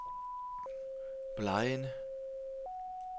Blegind